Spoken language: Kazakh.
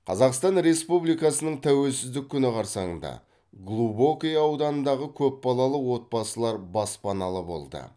қазақстан республикасының тәуелсіздік күні қарсаңында глубокое ауданындағы көпбалалы отбасылар баспаналы болды